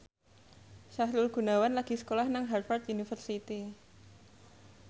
Sahrul Gunawan lagi sekolah nang Harvard university